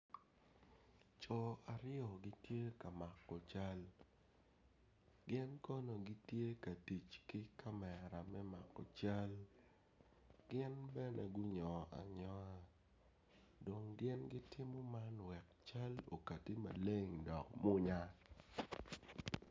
Co aryo gitye ka mako cal gin kono gitye ka tic ki kamera me mako cal gin bene gunyongo anyonga dong gin gitimo man wek cal okati maleng dok munya